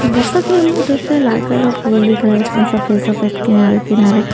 जैसा कि हमने देखा लाल कलर का फूल देख रहा है इसमें सफेद सफेद किनारे किनारे--